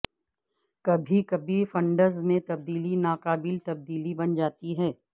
کبھی کبھی فنڈز میں تبدیلی ناقابل تبدیلی بن جاتی ہے